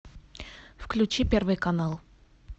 включи первый канал